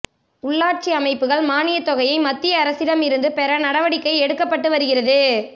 உள்ளாட்சி அமைப்புக்கள் மானியத்தொகையை மத்திய அரசிடம் இருந்து பெற நடவடிக்கை எடுக்கப்பட்டு வருகிறது